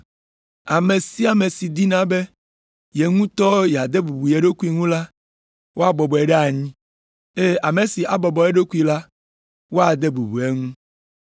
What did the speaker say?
Ame sia ame si dina be ye ŋutɔ yeade bubu ye ɖokui ŋu la, woabɔbɔe ɖe anyi, eye ame si abɔbɔ eɖokui la, woade bubu eŋu.”